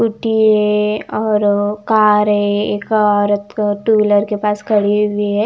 Scooty है और car है एक औरत टू व्हीलर के पास खड़ी हुई है।